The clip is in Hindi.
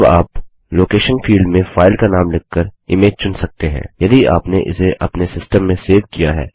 अब आप लोकेशन फील्ड में फाइल का नाम लिखकर इमेज चुन सकते हैं यदि आपने इसे अपने सिस्टम में सेव किया हुआ है